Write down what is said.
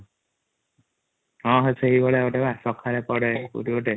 ହଁ ହଁ ସେଭଳିଆ ଗୋଟେ ସକାଳେ ପଡେ |